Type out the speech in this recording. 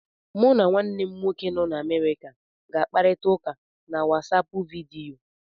Mụ na nwanne m nwoke nọ n'Amerịka ga-akparita ụka na WatsAapụ vidiyo.